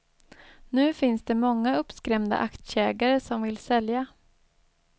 Nu finns det många uppskrämda aktieägare som vill sälja.